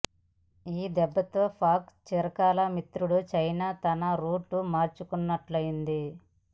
ఈ దెబ్బతో పాక్ చిరకాల మిత్రుడు చైనా తన రూటు మార్చుకున్నట్లుంది